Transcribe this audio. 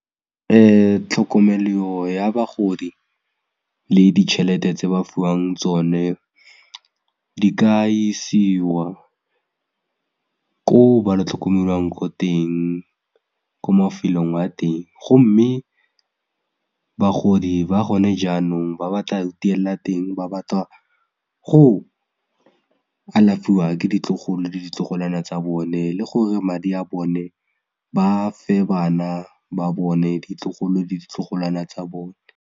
Tlhokomelo ya bagodi le ditšhelete tse ba fiwang tsone di ka isiwa ko ba lo tlhokomelwang ko teng ko mafelong a teng gomme bagodi ba gone jaanong ba batla teng ba batla go alafiwa ke ditlogolo le ditlogolwana tsa bone le gore madi a bone ba fe bana ba bone ditlogolo le ditlogolwana tsa bone.